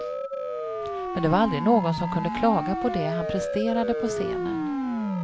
Men det var aldrig någon som kunde klaga på det han presterade på scenen.